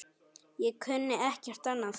Ég kunni ekkert annað.